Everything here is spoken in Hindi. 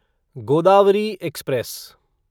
गोदावरी एक्सप्रेस